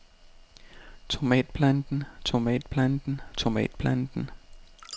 tomatplanten tomatplanten tomatplanten